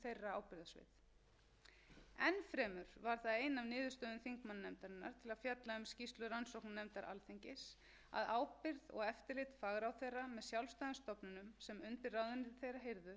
fjalla um skýrslu rannsóknarnefndar alþingis að ábyrgð og eftirlit fagráðherra með sjálfstæðum stofnunum sem undir ráðuneyti þeirra heyrðu virtist verulega ábótavant í ljósi framangreinds er brýnt